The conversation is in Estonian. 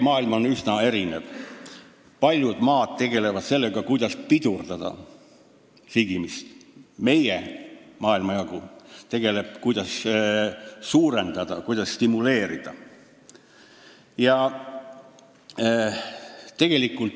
Maailm on üsna erinev: paljud maad tegelevad sellega, kuidas sigimist pidurdada, aga meie maailmajagu tegeleb sellega, kuidas sünde suurendada, stimuleerida.